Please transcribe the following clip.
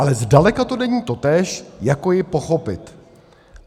Ale zdaleka to není totéž jako ji pochopit.